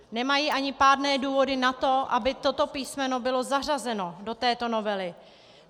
Nemají ani pádné důvody na to, aby toto písmeno bylo zařazeno do této novely.